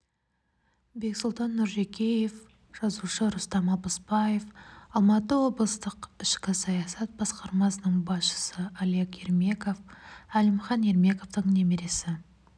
бексұлтан нұржекеев жазушы рустам алпысбаев алматы облыстық ішкі саясат басқармасының басшысы олег ермеков әлімхан ермековтың немересі